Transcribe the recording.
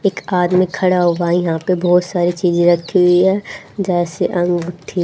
एक आदमी खड़ा होगा इहा पे बहुत सारी चीज रखी हुई है जैसे अंगूठी--